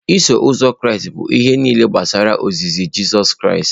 Iso Ụzọ Kraịst bụ ihe nile gbasara ozizi Jizọs Kraịst